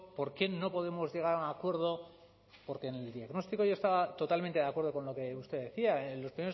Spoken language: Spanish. por qué no podemos llegar a un acuerdo porque en el diagnóstico yo estaba totalmente de acuerdo con lo que usted decía en los